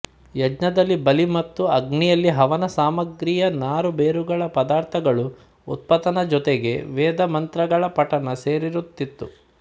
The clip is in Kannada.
ಯಜ್ಞದಲ್ಲಿ ಬಲಿ ಮತ್ತು ಅಗ್ನಿಯಲ್ಲಿ ಹವನ ಸಾಮಗ್ರಿಯ ನಾರು ಬೇರುಗಳ ಪದಾರ್ಥಗಳು ಉತ್ಪತನ ಜೊತೆಗೆ ವೇದ ಮಂತ್ರಗಳ ಪಠಣ ಸೇರಿರುತ್ತಿತ್ತು